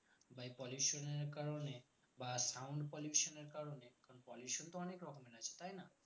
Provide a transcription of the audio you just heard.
by pollution এর কারণে বা sound pollution এর কারণে কারণ pollution তো অনেক রকমের আছে তাই না